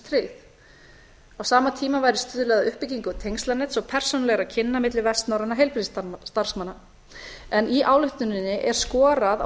á sama tíma væri stuðlað að uppbyggingu tengslanets og persónulegra kynni milli vestnorrænna heilbrigðisstarfsmanna en í ályktuninni er skorað á